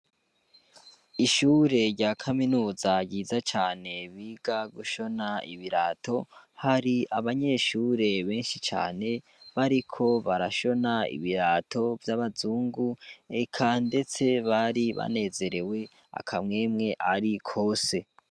Ishure rya kaminuza ryiza cane biga gushona ibirato hari abanyeshure benshi cane bariko barashona ibirato v'yabazungu eka bari banezerewe akamwemwe arikose